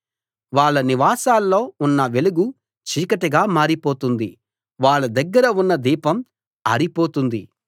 వాళ్ళ నివాసాల్లో ఉన్న వెలుగు చీకటిగా మారిపోతుంది వాళ్ళ దగ్గర ఉన్న దీపం ఆరిపోతుంది